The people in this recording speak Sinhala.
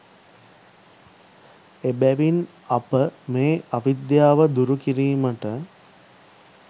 එබැවින් අප මේ අවිද්‍යාව දුරු කිරීමට